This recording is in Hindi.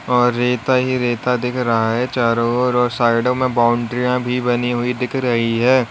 और रेता ही रेता दिख रहा है चारों ओर और साइडो में बॉउंड्रीयान भी बनी हुई दिख रही है।